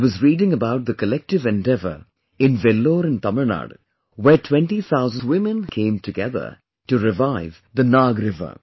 I was reading about the collective endeavour in Vellore of Tamilnadu where 20 thousand women came together to revive the Nag river